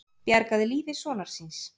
Bjargaði lífi sonar síns